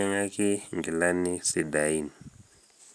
embolea tenkulukuoni emukunda ino.